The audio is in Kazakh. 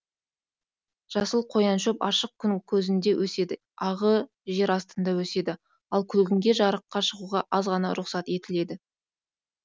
жасыл қояншөп ашық күн көзінде өседі ағы жер астында өседі ал күлгінге жарыққа шығуға аз ғана рұқсат етіледі